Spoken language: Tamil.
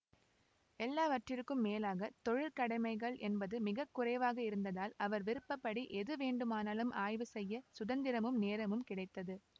எல்லாவற்றிற்கும் மேலாக தொழிற்கடமைகள் என்பது மிக குறைவாக இருந்ததால் அவர் விருப்ப படி எது வேண்டுமானாலும் ஆய்வு செய்ய சுதந்திரமும் நேரமும் கிடைத்தது